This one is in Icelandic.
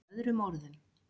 Með öðrum orðum.